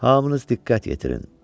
Hamınız diqqət yetirin.